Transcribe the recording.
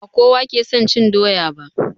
Ba kowa ke son cin doya ba